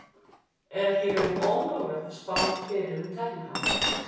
Er ekki í raun ómögulegt að spá fyrir um tækniframfarir?